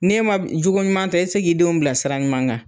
Ne ma cogo ɲuman ta e ti se k'i denw bila sira ɲuman kan.